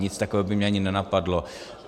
Nic takového by mě ani nenapadlo.